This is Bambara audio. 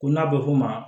Ko n'a bɛ f'o ma